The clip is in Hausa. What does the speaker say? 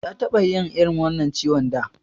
Ya taɓa yin irin wannan ciwon da.